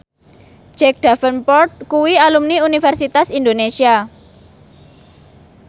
Jack Davenport kuwi alumni Universitas Indonesia